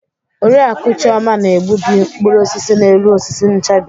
Oriakụ Chioma na-egbubi mkpụrụ osisi n'elu osisi nchabi.